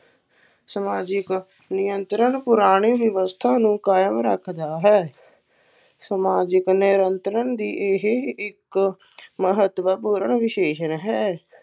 ਸਮਾਜਿਕ ਨਿਯੰਤਰਣ ਪੁਰਾਣੇ ਵਿਵਸਥਾ ਨੂੰ ਕਾਇਮ ਰੱਖਦਾ ਹੈ, ਸਮਾਜਿਕ ਨਿਯੰਤਰਣ ਦੀ ਇਹ ਇੱਕ ਮਹੱਤਵਪੂਰਨ ਵਿਸ਼ੇਸ਼ਣ ਹੈ।